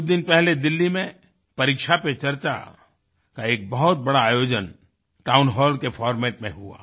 कुछ दिन पहले दिल्ली में परीक्षा पे चर्चा का एक बहुत बड़ा आयोजन टाउन हॉल के फॉर्मेट में हुआ